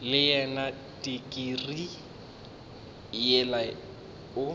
le yona tikirii yela o